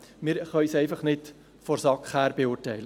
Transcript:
Wir können es einfach nicht aus Sicht der SAK beurteilen.